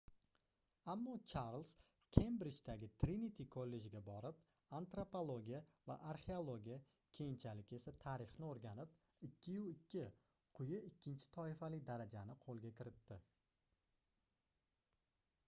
ammo charlz kembrijdagi triniti kollejga borib antropologiya va arxeologiya keyinchalik esa tarixni o'rganib 2:2 quyi ikkinchi toifali daraja ni qo'lga kiritdi